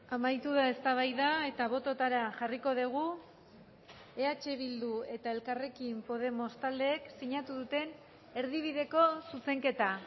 amaitu da eztabaida eta bototara jarriko dugu eh bildu eta elkarrekin podemos taldeek sinatu duten erdibideko zuzenketa